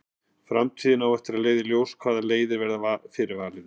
Framtíðin á eftir að leiða í ljós hvaða leiðir verða fyrir valinu.